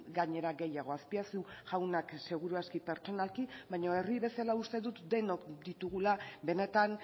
gainera gehiago azpiazu jaunak seguru aski pertsonalki baina herri bezala uste dut denok ditugula benetan